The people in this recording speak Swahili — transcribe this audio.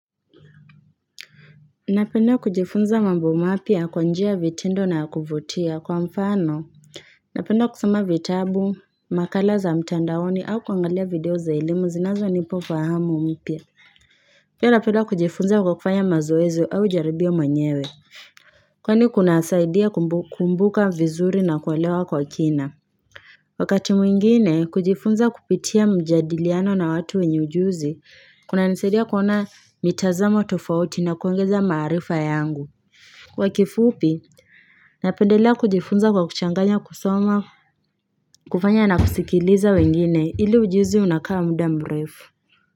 Napenda kujifunza mambo mapyia kwa njia vitendo na kuvutia kwa mfano Napenda kusoma vitabu, makala za mtandaoni au kuangalia video za elimu zinazo nipa ufahamu mpyia pia napenda kujifunza kwa kufanya mazoezi au jaribia mwenyewe Kwani kuna saidia kukumbuka vizuri na kuelewa kwa kina Wakati mwingine kujifunza kupitia mjadiliano na watu wenye ujuzi Kuna nisaidia kuona mitazamo tofauti na kuongezea maarifa yangu. Kwa kifupi, napendelea kujifunza kwa kuchanganya kusoma, kufanya na kusikiliza wengine ili ujuzi unakaa muda mrefu.